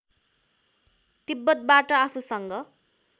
तिब्‍बतबाट आफूसँग